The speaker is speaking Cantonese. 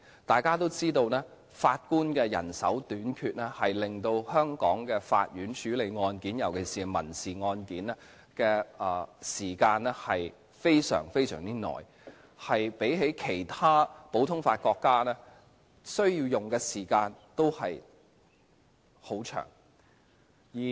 大家都知道，法官人手短缺令香港法院處理案件，尤其是民事案件的時間非常長，較其他普通法國家所需的時間更長。